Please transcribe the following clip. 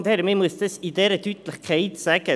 Ich muss es mit grosser Deutlichkeit sagen: